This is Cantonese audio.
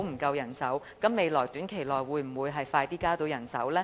當局在短期內會否盡快增加人手？